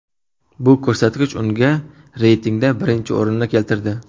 Bu ko‘rsatkich unga reytingda birinchi o‘rinni keltirdi.